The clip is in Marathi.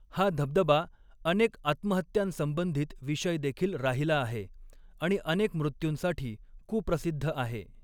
हा धबधबा अनेक आत्महत्यांसंबंधित विषय देखील राहिला आहे आणि अनेक मृत्यूंसाठी कुप्रसिद्ध आहे.